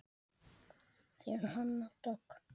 Þín Hanna Dögg.